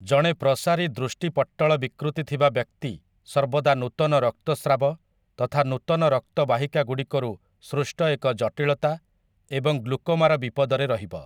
ଜଣେ ପ୍ରସାରୀ ଦୃଷ୍ଟି ପଟ୍ଟଳ ବିକୃତି ଥିବା ବ୍ୟକ୍ତି ସର୍ବଦା ନୂତନ ରକ୍ତସ୍ରାବ, ତଥା ନୂତନ ରକ୍ତ ବାହିକାଗୁଡ଼ିକରୁ ସୃଷ୍ଟ ଏକ ଜଟିଳତା ଏବଂ ଗ୍ଲୁକୋମାର ବିପଦରେ ରହିବ ।